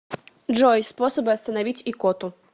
джой способы остановить икоту